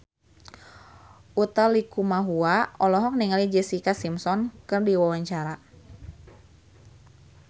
Utha Likumahua olohok ningali Jessica Simpson keur diwawancara